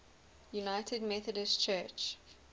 united methodist church